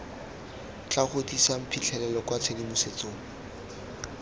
tla godisang phitlhelelo kwa tshedimosetsong